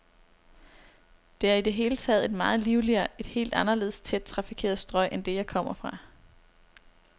Det er i det hele taget et meget livligere, et helt anderledes tæt trafikeret strøg end det, jeg kom fra.